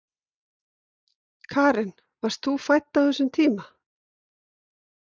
Karen: Varst þú fædd á þessum tíma?